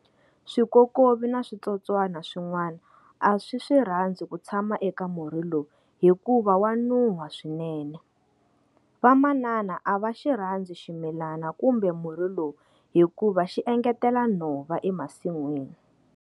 Swikokovi na switsotswana swinwana a swi swi rhandzi ku tshama eka murhi lowu hikuva wa nuha swinene. Vamanana a va xirhandzi ximilana kumbe murhi lowu hikuva xi engetela nhova emasinwini.